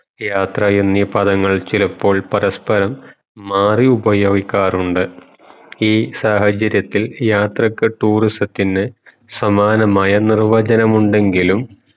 യാത്ര എന്നീ പദങ്ങൾ ചിലപ്പോൾ പരസ്‌പരം മറിയുപയോഗിക്കാറുണ്ട് ഈ സാഹചര്യത്തിൽ യാത്രക് tourism തിന്ന് സമാനമായ നിർവചനമുണ്ടെങ്കിലും